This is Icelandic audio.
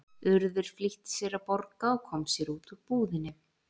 Urður flýtti sér að borga og kom sér út úr búðinni.